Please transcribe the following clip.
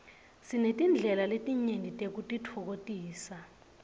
sinetindlela letinyenti tekutitfokotisa